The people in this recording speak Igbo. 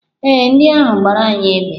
Ee, ndị ahụ gbara anyị égbè.